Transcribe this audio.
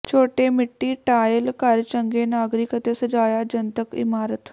ਛੋਟੇ ਮਿੱਟੀ ਟਾਇਲ ਘਰ ਚੰਗੇ ਨਾਗਰਿਕ ਅਤੇ ਸਜਾਇਆ ਜਨਤਕ ਇਮਾਰਤ